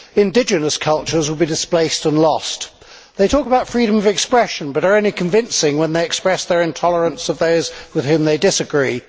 Indigenous cultures will be displaced and lost. They talk about freedom of expression but are only convincing when they express their intolerance of those with whom they disagree.